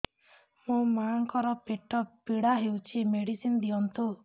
ମୋ ମାଆଙ୍କର ପେଟ ପୀଡା ହଉଛି ମେଡିସିନ ଦିଅନ୍ତୁ